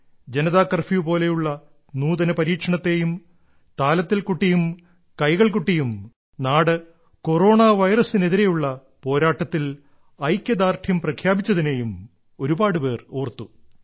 Janata curfew പോലുള്ള നൂതന പരീക്ഷണത്തേയും താലത്തിൽ കൊട്ടിയും കൈകൾ കൊട്ടിയും നാട് കൊറോണ വൈറസിന് എതിരെയുള്ള പോരാട്ടത്തിൽ ഐക്യദാർഢ്യം പ്രഖ്യാപിച്ചതിനേയും ഒരുപാടു പേർ ഓർത്തു